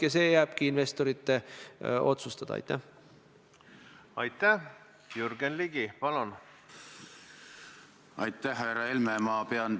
Ja saagu see ülesanne stenogrammis fikseeritud, nii nagu te soovite – me tõepoolest kavatseme sellest ülesandest kinni pidada.